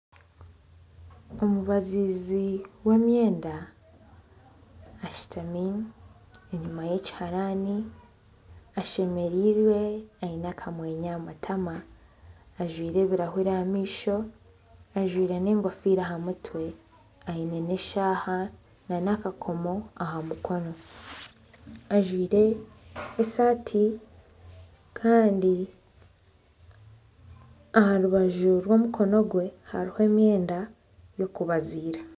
Omubaziizi w'emyenda ashutami enyima y'ekiharani, ashemereirwe, aine akamwenyo aha matama. Ajwaire ebirahuri aha maisho, ajwaire n'engofiira aha mutwe, n'eshaaha nana akakomo aha mukono. Ajwaire esaati kandi aha rubaju rw'omukono gwe hariho emyenda y'okubaziira.